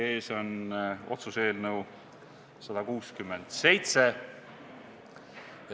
Teie ees on otsuse eelnõu 167.